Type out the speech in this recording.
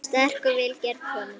Sterk og vel gerð kona.